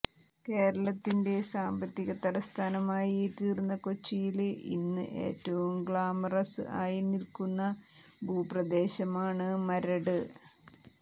കേരളത്തിന്റെ സാമ്പത്തിക തലസ്ഥാനമായി തീര്ന്ന കൊച്ചിയില് ഇന്ന് ഏറ്റവും ഗ്ലാമറസ് ആയി നില്ക്കുന്ന ഭൂപ്രദേശമാണ് മരട്